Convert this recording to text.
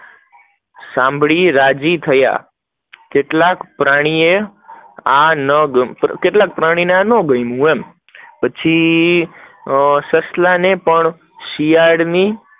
સાંભળી રાજી થયા, કેટલાક પ્રાણી ને આ ન ગમીયું, સસલા ને પણ શિયાળ ની